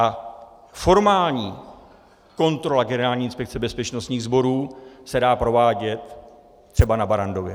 A formální kontrola Generální inspekce bezpečnostních sborů se dá provádět třeba na Barrandově.